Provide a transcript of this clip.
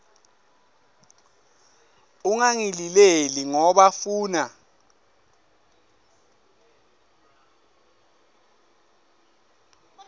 ungangilileli ngoba funa